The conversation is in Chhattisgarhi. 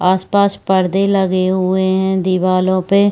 आस-पास पर्दे लगे हुए है दीवालो पे--